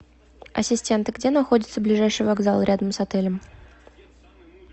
ассистент где находится ближайший вокзал рядом с отелем